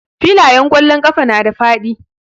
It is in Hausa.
Filayen ƙwallon ƙafa na da faɗi.